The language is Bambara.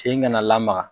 Sen kana lamaga